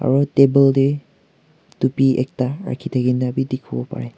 aro table te tupi ekta rakhi thakina dikhiwo pare.